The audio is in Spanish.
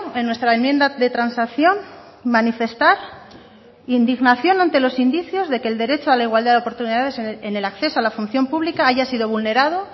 en nuestra enmienda de transacción manifestar indignación ante los indicios de que el derecho a la igualdad de oportunidades en el acceso a la función pública haya sido vulnerado